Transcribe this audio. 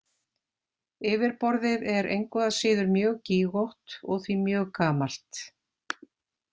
Yfirborðið er engu að síður mjög gígótt og því mjög gamalt.